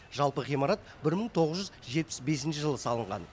жалпы ғимарат бір мың тоғыз жүз жетпіс бесінші жылы салынған